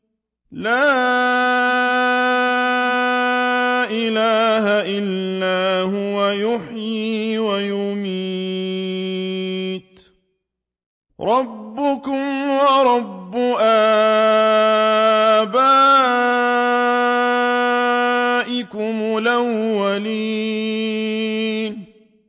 لَا إِلَٰهَ إِلَّا هُوَ يُحْيِي وَيُمِيتُ ۖ رَبُّكُمْ وَرَبُّ آبَائِكُمُ الْأَوَّلِينَ